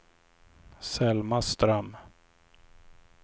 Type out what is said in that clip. Selma Ström